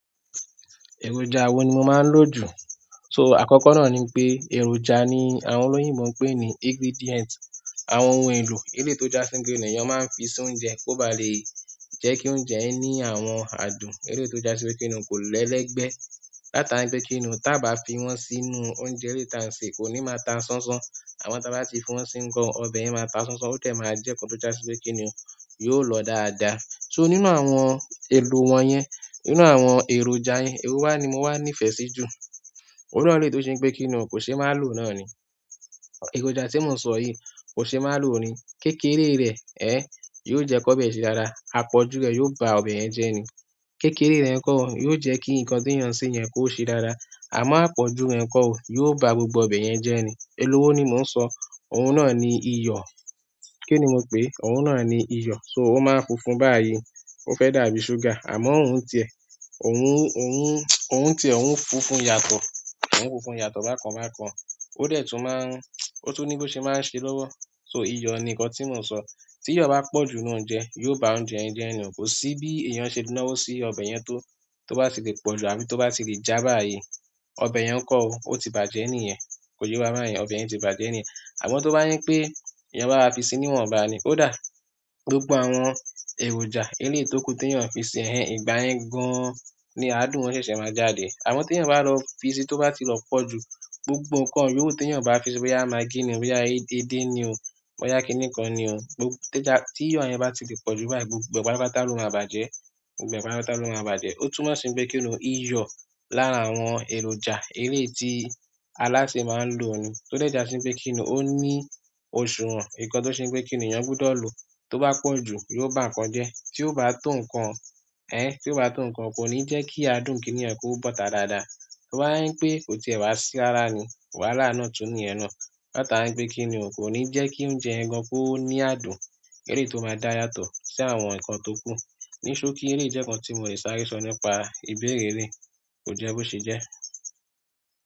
Èròjà wo ni mo máa ń lò jù? So àkọ́kọ́ náà ni pé èròjà ni àwọn olóyìnbo ń pè ní ingredient. Àwọn ohun èlò eléyìí to já sí kíni èyàn máa ń fi sí oúnjẹ kó ba lè jẹ́ kí oúnjẹ yẹ ní àwọn adùn. Eléto já sípe kíni kò le lẹ́gbẹ́ látara ń pé kíni o. Tábá fi wọ́n sínú oúnjẹ eléyii ti à ń sè kò ní máa ta sánsán. Àmọ́ tá bá ti fi wọ́n sí ngàn, ọbẹ̀ yẹn máa ta sánsán. Ó dẹ máa jẹ́ nkan tó já sípe kíni yóò lọ dáadáa. So nínú àwọn èlò wọ́n yẹn, nínú àwọn èròjà yẹn, ewo wá ni mo wá nífẹ̀ẹ́ sí jù. Iru àwọn eléyìí tó ṣe ń pé kí ni o kò ṣe má lò náà ni. Èròjà tí mo sọ yìí kò ṣe má lòò ni. Kékéré rẹ̀ ẹ́ yóò jẹ́ kó bẹ̀ se dáda. Àpọ̀jù rẹ̀ yóò ba ọbẹ̀ yẹn jẹ́ ni. Kékéré rẹ̀ kọ́ yóò jẹ́ kí nǹkan tí ènìyàn ń sè yẹn kó ṣe dára. Àmọ́ àpọ̀jù rẹ̀ kọ́ ó yóò ba gbogbo ọbẹ̀ yẹn jẹ́ ni. Elowó ni mò ń sọ. Òun náà ni iyọ̀. Kí ni mo pè é? Òun náà ni iyọ̀. So ó máa funfun báyìí. Ó fẹ́ dàbí ṣúgà. Àmọ́ òun tì ẹ́. Òun, òun, òun tì ẹ́, òun funfun yàtọ̀. Òun funfun yàtọ̀ bákan bákan. O dẹ tun ma ń, o tun ni bo ṣe ma ń ṣe lọwọ. So iyọ̀ ni nǹkan tí mò ń sọ. Tí iyọ̀ bá pọ̀ ju inú oúnjẹ, yóò ba oúnjẹ yẹn jẹ́ ni o. Kò sí bí èèyàn ṣe le náwó sí ọbẹ̀ yẹn tó, tó bá ti lè pọ̀jù àbí tó bá ti lè já báyìí. Ọbẹ̀ yẹn kọ́ ó, ó ti bàjẹ́ nìyẹn. Koye wà bayẹn, ọbẹ yẹ tí bàjẹ́ nìyẹn. Àmọ́ tó bá jẹ́ pé èèyàn bá wáa fi sí ni iwọnbá ni. Ó dà? Gbogbó àwọn èròjà eléyii to kù tí èèyàn ń fi sè ẹ́, ìgbà yẹ́ gan-an ni àádùn wọn ṣẹ̀ṣẹ̀ máa jáde. Àmọ́ tí èèyàn bá lọ fi sí tó bá ti lọ pọ̀ jù gbogbo nǹkan yówu ti èèyàn bá fi sí i, boyá, magí ni o. Boyá, edé ni o. Boyá, kí nìkan ni o." Tí iyọ̀ yẹn bá ti lè pọ̀ jù báyìí gbogbo, gbogbo ẹ pátápátá ló máa bàjẹ́. Gbogbo ẹ pátápátá ló máa bàjẹ́. Ó tún máa sí ń pé kíni o. Iyọ̀ lára àwọn èròjà eléyii ti alásè máa ń lò ni. Tó dẹ̀ já sípe kíni ó ní òsùwọ̀n. Nǹkan tó ṣe ń pé kí èyàn gbúdọ̀ lò tó bá pọ̀ jù yóò bá nǹkan jẹ́. Tí ó bá tò nǹkan, ẹ́, tí ó bá tò nǹkan kò ní jẹ́ kí adùn kínìyẹn kó bọ́ta dáadáa. Tó bá yẹn pé kò ti è wá sí rara ni, wàhálà náà tún ní ìyẹn na. Láti ara ń pé kíni o kò ní jẹ́ kí oúnjẹ ẹ gan kó ní adùn eléyìí to máa dá yàtọ̀ sí àwọn nǹkan tó kù. Ni sokí eleyii jẹ́ nǹkan tí mo lè sáré sọ nípa ìbéèrè eleyii kò jẹ́ bó ṣe jẹ́.